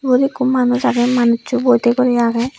ubod ekko manuj agey manusso boide guri agey.